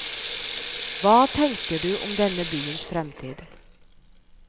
Hva tenker du om denne byens fremtid?